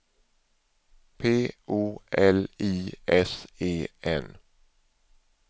P O L I S E N